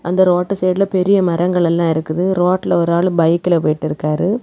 அந்த ரோட்டு சைடுல பெரிய மரங்கள் எல்லா இருக்குது. ரோட்டுல ஒரு ஆளு பைக்ல போயிட்டு இருக்காரு.